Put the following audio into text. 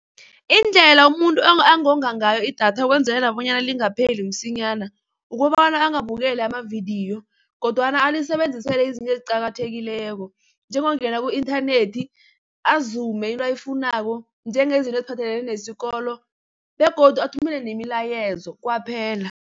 Indlela umuntu angonga ngayo i-data ukwenzelela bonyana lingapheli msinyana, ukobana angabukeli amavidiyo kodwana alisebenzisele izinto eziqakathekileko. Njengokungena ku-inthanethi azume into ayifunako, njengezinto eziphathelene nesikolo begodu athumele nemilayezo kwaphela.